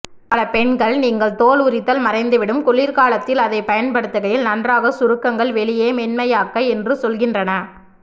பல பெண்கள் நீங்கள் தோல் உரித்தல் மறைந்துவிடும் குளிர்காலத்தில் அதைப் பயன்படுத்துகையில் நன்றாக சுருக்கங்கள் வெளியே மென்மையாக்க என்று சொல்கின்றன